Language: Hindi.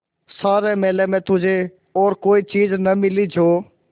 सारे मेले में तुझे और कोई चीज़ न मिली जो